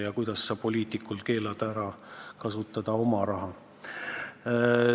Ja kuidas sa keelad poliitikul kasutada oma raha?